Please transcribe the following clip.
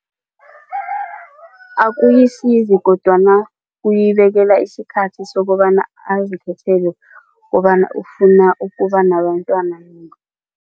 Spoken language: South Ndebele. Akuyisizi kodwana ukuyibekela isikhathi sokobana azikhethele kobana ufuna ukuba nabentwana